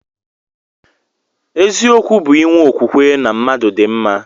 Eziokwu bu inwe okwukwe na mmadu di mma.